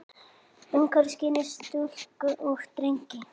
Umskera skyldi stúlkur og drengi.